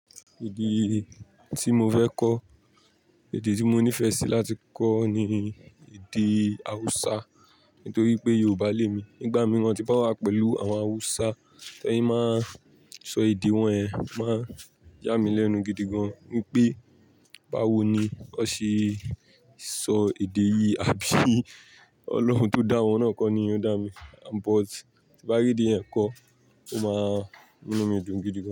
Èdè tí mo fẹ́ kọ, èdè tí mo nífẹ̀ẹ́ sí láti kọ ni èdè Haúsá nítorí pé Yorùbá l'èmi. Nígbà mìíràn tí bá wà pẹ̀lú àwọn Haúsá, tí wọ́n máa sọ èdè wọn yẹn, máa yà mí lẹ́nu gidi gan-an wípé, báwo ni wọ́n ṣe sọ èdè yìí, àbí Ọlọ́run tó dá wọn náà kọ ni ó dá mi? But tí bá rí dí ẹ kọ, ó máa ní mí dùn gidi gan.